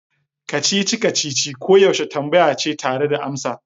Kacici-kacici koyaushe tambaya ce tare da amsa.